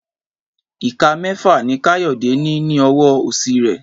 Ìka mẹ́fà ni Káyọ̀dé ní ní ọwọ́ òsì rẹ̀